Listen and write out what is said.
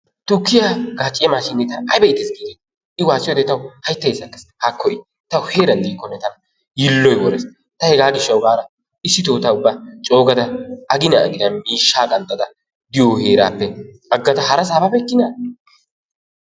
Tukkiya gaacciya mashinee tana ayba iitees, giideti I waasiyode tawu hayttay sakees haakko i. Ta heeeran diikonne tana yiilloy worees ta hegaa gishshawu gadaa issito ta ubba coo gada aginan aginan miishshaa qanxxanda diyo heerappe agada harasaa babeykina?